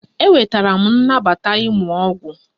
Enwetara m nnabata ịmụ ọgwụ